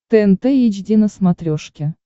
тнт эйч ди на смотрешке